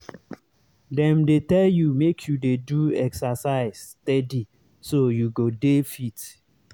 dem dey tell you make you dey do exercise steady so you go dey fit.